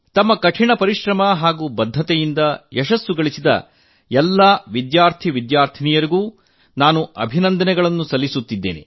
ತಮ್ಮ ಕಠಿಣ ಪರಿಶ್ರಮ ಹಾಗೂ ಬದ್ಧತೆಯಿಂದ ಯಶಸ್ಸು ಗಳಿಸಿದ ಎಲ್ಲಾ ವಿದ್ಯಾರ್ಥಿ ವಿದ್ಯಾರ್ಥಿನಿಯರನ್ನು ನಾನು ಅಭಿನಂದಿಸುತ್ತೇನೆ